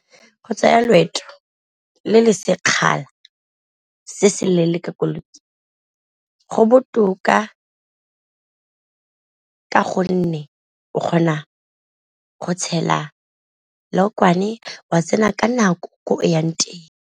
Go tsaya loeto le le sekgala se se leele ka koloi go botoka ka gonne, o kgona go tshela lookwane wa tsena ka nako ko o yang teng.